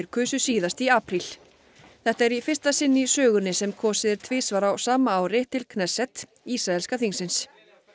kusu síðast í apríl þetta er í fyrsta sinn í sögunni sem kosið er tvisvar á sama ári til Knesset ísraelska þingsins